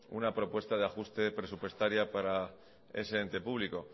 una propuesta de ajuste presupuestaria para ese ente público